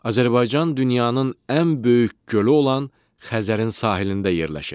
Azərbaycan dünyanın ən böyük gölü olan Xəzərin sahilində yerləşir.